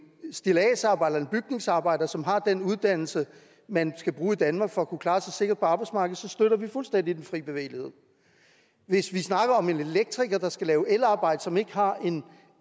stilladsarbejder eller bygningsarbejder som har den uddannelse man skal bruge i danmark for at kunne klare sig sikkert på arbejdsmarkedet støtter vi fuldstændig den frie bevægelighed hvis vi snakker om en elektriker der skal lave elarbejde som ikke har en